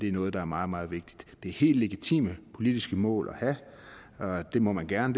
er noget der er meget meget vigtigt det er helt legitime politiske mål at have det må man gerne